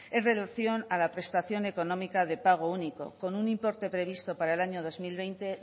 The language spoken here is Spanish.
en relación a la prestación económica de pago único con un importe previsto para el año dos mil veinte